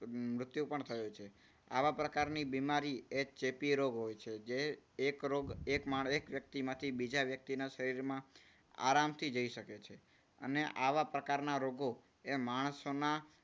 મૃત્યુ પણ થયો છે. આવા પ્રકારની બીમારી એ ચેપી રોગ હોય છે જે એક વ્યક્તિમાંથી બીજા વ્યક્તિના શરીરમાં આરામથી જઈ શકે છે. અને આવા પ્રકારના લોકો એ માણસોના